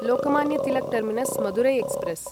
Lokmanya Tilak terminus Madurai express